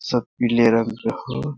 सब पीले रंग का हो |